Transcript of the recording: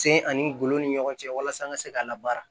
Sen ani ngolo ni ɲɔgɔn cɛ walasa an ka se ka labaara